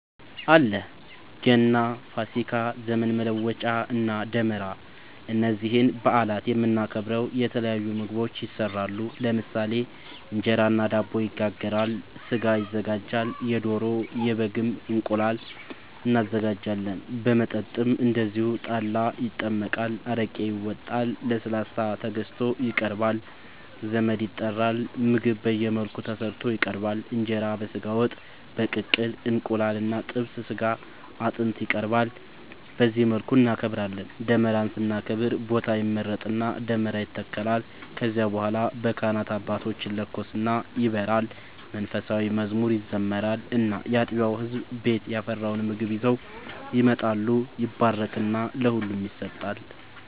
አለ ገና፣ ፋሲካ፣ ዘመን መለወጫ እና ደመራ እነዚህን በአላት የምናከብረው የተለያዩ ምግቦች ይሰራሉ ለምሳሌ እንጀራ እና ዳቦ ይጋገራል፣ ስጋ ይዘጋጃል የዶሮ፣ የበግም፣ እንቁላል እናዘጋጃለን። መጠጥም እንደዚሁ ጠላ ይጠመቃል፣ አረቄ ይወጣል፣ ለስላሳ ተገዝቶ ይቀርባል ዘመድ ይጠራል ምግብ በየመልኩ ተሰርቶ ይቀርባል እንጀራ በስጋ ወጥ፣ በቅቅል እንቁላል እና ጥብስ ስጋ አጥንት ይቀርባል በዚህ መልኩ እናከብራለን። ደመራን ስናከብር ቦታ ይመረጥና ደመራ ይተከላል ከዚያ በኋላ በካህናት አባቶች ይለኮስና ይበራል መንፉሳዊ መዝሙር ይዘመራል እና ያጥቢያው ህዝብ ቤት ያፈራውን ምግብ ይዘው ይመጣሉ ይባረክና ለሁሉም ይሰጣል።